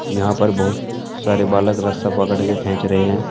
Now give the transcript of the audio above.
यहां पर बहुत सारे बालक रास्ता पकड़ के खींच रहे हैं।